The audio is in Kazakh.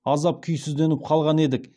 аздап күйсізденіп қалған едік